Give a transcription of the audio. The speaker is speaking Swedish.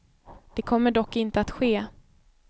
Det kommer dock inte att ske.